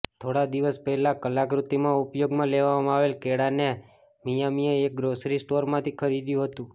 થોડા દિવસ પહેલા કલાકૃતિમાં ઉપયોગમાં લેવામા આવેલ કેળાને મિયામીએ એક ગ્રોસરી સ્ટોરમાંથી ખરીદ્યુ અતુ